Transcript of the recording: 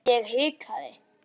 Njóttu betur en niður gengur.